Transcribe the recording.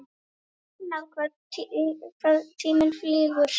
Magnað hvað tíminn flýgur?